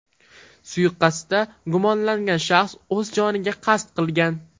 Suiqasdda gumonlangan shaxs o‘z joniga qasd qilgan.